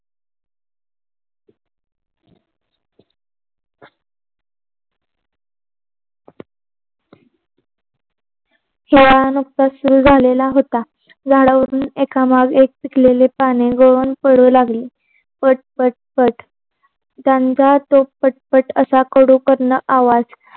खेळायला नुसतास सुरू झालेला होता. झाडवरून एक मग एक पिकलेले पाने गळून पडू लागले. पट पट पट त्यांचा पट पट पट असा कडू करण असा आवाज